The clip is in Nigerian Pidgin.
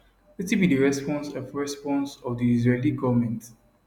wetin be di response of response of di israeli goment